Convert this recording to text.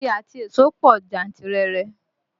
Igi àti èso pọ̀ jantirere